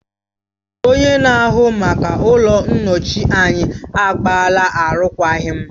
Onye na-ahụ maka ụlọ nyocha anyị agbaala arụkwaghịm